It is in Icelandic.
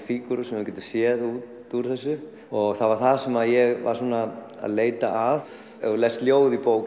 fígúrur sem þú getur séð út úr þessu og það var það sem ég var að leita að ef þú lest ljóð í bók